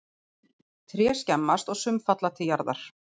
Tré skemmast og sum falla til jarðar.